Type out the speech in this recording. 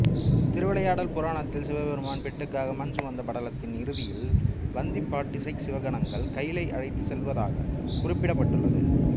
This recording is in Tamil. திருவிளையாடல் புராணத்தில் சிவபெருமான் பிட்டுக்காக மண் சுமந்த படலத்தின் இறுதியில் வந்தி பாட்டியைச் சிவகணங்கள் கயிலைக்கு அழைத்துச் செல்லுவதாகக் குறிப்பிடப்பட்டுள்ளது